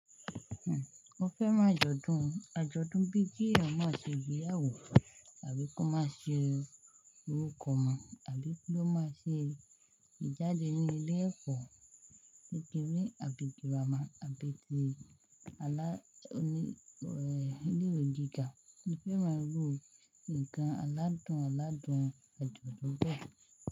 Mo fẹ́ran ajodun, ajọdun bí kí èèyàn máa ṣe igbeyàwó àbí kó máa ṣe orúkọ ọmọ àbí kí ó máa ṣe ìjáde ní ilé ẹ̀kọ́ kékeré àbí gírámà àbí ti alá oní, ileewe gíga. Mo fẹ́ máa gbọ́ ǹkan aládùn aládùn àjọ̀dún bẹ́ẹ̀.